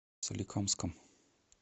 соликамском